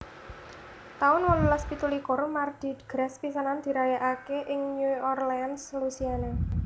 taun wolulas pitu likur Mardi Gras pisanan dirayakaké ing New Orleans Louisiana